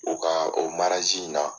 U ka o in na